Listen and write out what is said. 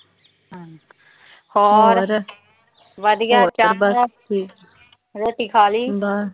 ਹੋਰ। ਵਧੀਆ। ਰੋਟੀ ਖਾ ਲੀ?